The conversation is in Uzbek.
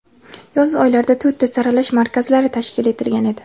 yoz oylarida to‘rtta saralash markazlari tashkil etilgan edi.